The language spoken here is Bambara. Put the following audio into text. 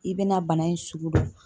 I bɛna bana in sugu dɔn